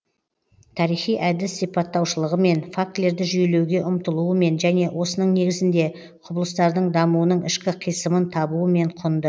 тарихи әдіс сипаттаушылығымен фактілерді жүйелеуге ұмтылуымен және осының негізінде құбылыстардың дамуының ішкі қисынын табуымен құнды